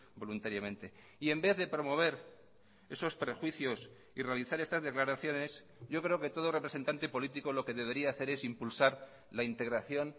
voluntariamente y en vez de promover esos prejuicios y realizar estas declaraciones yo creo que todo representante político lo que debería hacer es impulsar la integración